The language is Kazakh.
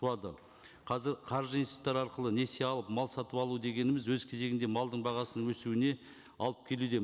туады қазір қаржы институттары арқылы несие алып мал сатып алу дегеніміз өз кезегінде малдың бағасының өсуіне алып келуде